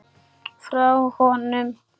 Frá honum!